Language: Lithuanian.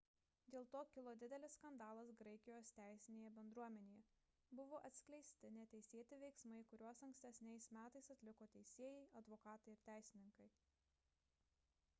dėl to kilo didelis skandalas graikijos teisinėje bendruomenėje – buvo atskleisti neteisėti veiksmai kuriuos ankstesniais metais atliko teisėjai advokatai ir teisininkai